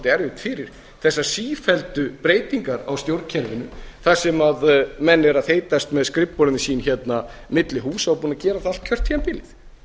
erfitt fyrir þessar sífelldu breytingar á stjórnkerfinu þar sem menn eru að þeytast með skrifborðin sín hérna milli húsa og búnir að gera það allt kjörtímabilið